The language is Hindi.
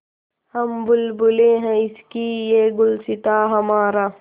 हम बुलबुलें हैं इसकी यह गुलसिताँ हमारा